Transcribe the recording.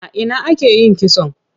A ina ake yin kitson?